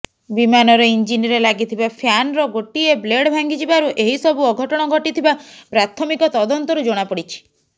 ବିମାନର ଇଞ୍ଜିନରେ ଲାଗିଥିବା ଫ୍ୟାନ୍ର ଗୋଟିଏ ବ୍ଲେଡ ଭାଙ୍ଗିଯିବାରୁ ଏହି ସବୁ ଅଘଟଣ ଘଟିଥିବା ପ୍ରାଥମିକ ତଦନ୍ତରୁ ଜଣାପଡ଼ିଛି